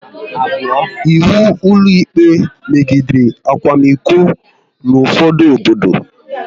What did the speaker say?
Ịwu ụlọikpe megidere akwamiko n'ufodu obodo